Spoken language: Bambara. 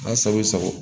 A sago sago